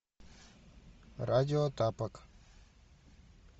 радио тапок